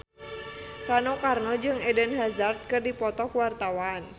Rano Karno jeung Eden Hazard keur dipoto ku wartawan